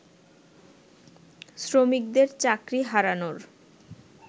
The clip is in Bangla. শ্রমিকদের চাকরি হারানোর